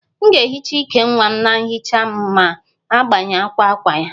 M ga-ehicha íkè nwa m na nhicha ma m gbanwe akwa akwa ya